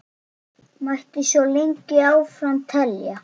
Mætti svo lengi áfram telja.